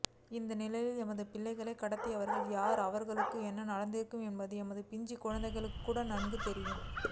இந்நிலையில் எமது பிள்ளைகளை கடத்தியவர்கள் யார் அவர்களுக்கு என்ன நடந்திருக்கும் என்பது எமது பிஞ்சி குழந்தைகளுக்கு கூட நன்கு தெரியும்